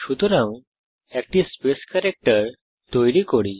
সুতরাং একটি space character তৈরী করি